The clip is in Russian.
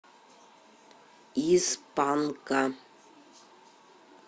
из панка